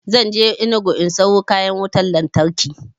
Zan je enugu in siyo kayan wutan lantarki